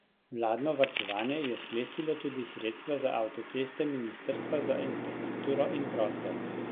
Vladno varčevanje je sklestilo tudi sredstva za avtoceste ministrstva za infrastrukturo in prostor.